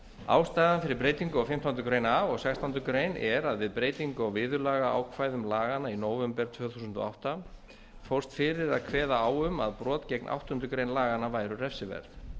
ástæðan fyrir breytingu á fimmtándu grein a og sextándu grein er að við breytingu á viðurlagaákvæðum laganna í nóvember tvö þúsund og átta fórst fyrir að kveða á um að brot gegn áttundu grein laganna væru refsiverð